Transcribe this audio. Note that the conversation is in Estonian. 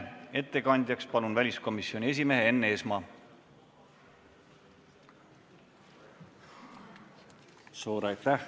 Ettekandjaks palun väliskomisjoni esimehe Enn Eesmaa!